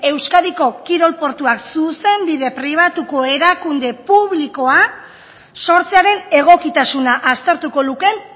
euskadiko kirol portuak zuzenbide pribatuko erakunde publikoa sortzearen egokitasuna aztertuko lukeen